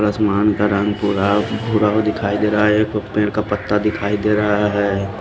आसमान का रंग भूरा भूरा भी दिखाई दे रहा है कुछ पेड़ का पत्ता दिखाई दे रहा है।